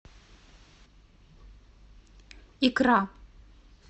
икра